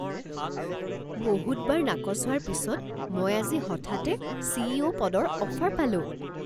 বহুতবাৰ নাকচ হোৱাৰ পিছত মই আজি হঠাতে চি.ই.অ'. পদৰ অফাৰ পালোঁ